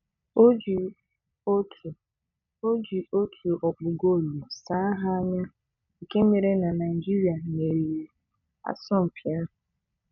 O ji otu O ji otu ọkpụ goolu saa ha anya nke mere na Naịjirịa meriri asọmpị ahụ.